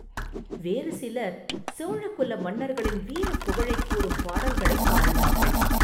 வேறு சிலர் சோழ குல மன்னர்களின் வீரப் புகழைக் கூறும் பாடல்களைப் பாடினார்கள்.